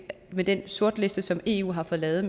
med den sortliste som eu har fået lavet